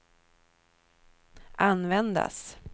användas